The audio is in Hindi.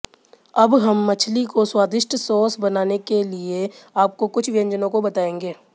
अब हम मछली को स्वादिष्ट सॉस बनाने के लिए आपको कुछ व्यंजनों को बताएंगे